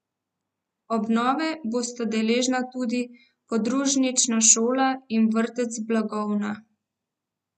Obnove bosta deležna tudi podružnična šola in vrtec Blagovna.